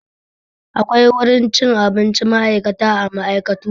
Akwai wurin cin abincin ma'aikata a ma'aikatu.